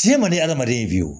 Tiɲɛ man di hadamaden fiyewu